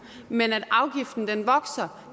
men så vokser afgiften